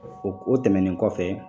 O o tɛmɛnen kɔfɛ